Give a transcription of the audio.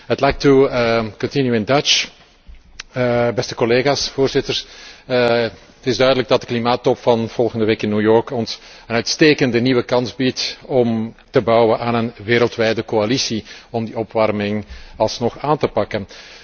Het is duidelijk dat de klimaattop van volgende week in New York ons een uitstekende nieuwe kans biedt om te bouwen aan een wereldwijde coalitie om die opwarming alsnog aan te pakken.